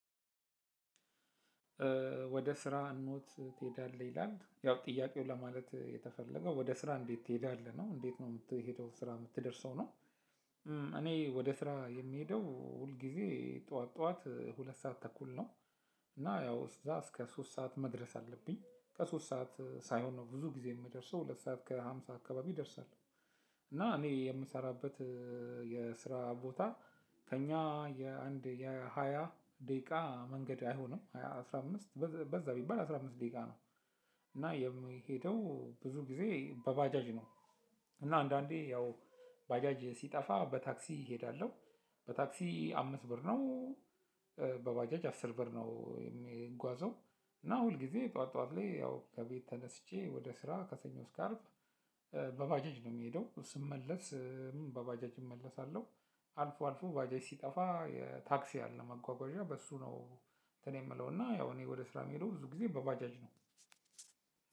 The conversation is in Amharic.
ወደ ስራ ኖት ትሄዳለህ ይላል ያው ጥያቄው ለማለት የተፈለገው ወደ ስራ እንዴት ትሄዳለህ ነው እንዴት ነው የምትሄደው፣ ስራ የምትደርሰው ነው፣ እኔ ወደ ስራ የምሄደው ሁል ጊዜ ጠዋት ጠዋት ሁለት ሰዓት ተኩል ነው። እና ያው እዛ እስከ ሶስት ሰዓት መድረስ አለብኝ። ከሶስት ሰዓት ሳይሆን ነው ብዙ ጊዜ የምደርሰው ሁለት ሰዓት ከሃምሳ አካባቢ ደርሳለሁ። እና እኔ የምሰራባት የስራ ቦታ ከኛ የአንድ የሃያ ዳቂቃ መንገድ አይሆንም፣ ሃያ አስራ አምስት ባዛ ብበል አስራ ሶስት ዳቂቃ ነው። እና የሚሄደው ብዙ ጊዜ በባጃጅ ነው። እና አንዳንዴ ያው ባጃጅ ሲጠፋ በታክሲ እሄዳለሁ። በታክሲ አምስት ብር ነው። በባጃጅ አስር ብር ነው የሚጓዘው እና ሁል ጊዜ ጠዋት ጠዋት ላይ ያው ከቤት ተነስቼ ወደ ስራ ከሰኞ እስከ አርብ በባጃጅ ነው የምሄዳው ስመለስም በባጃጅ እመለስላሁ። አልፎ አልፎ ብጃጅ ስጠፋ ተክስ አለ መጎጎዠ በእሱ ነው እንትን የሚለውና እኔ ብዙ ግዜ በባጃጅ ነው።